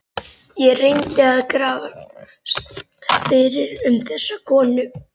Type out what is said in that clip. Ég reyndi að grafast fyrir um þessa konu.